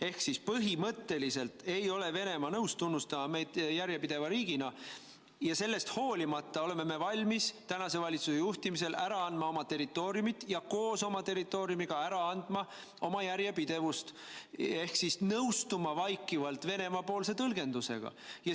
Ehk siis põhimõtteliselt ei ole Venemaa nõus tunnustama meid järjepideva riigina ja sellest hoolimata oleme me valmis tänase valitsuse juhtimisel ära andma oma territooriumit ja koos oma territooriumiga ära andma ka oma järjepidevust ehk siis nõustuma vaikivalt Venemaa tõlgendusega.